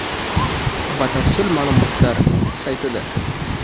Batafsil ma’lumotlar saytida.